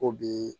Ko bi